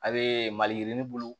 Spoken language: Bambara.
A bee maliyirini bulu